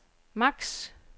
maks